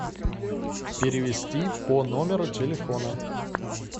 перевести по номеру телефона